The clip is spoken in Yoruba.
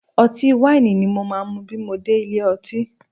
Ọtí wáìnì ni mo máa mu bí mo dé ilé ọtí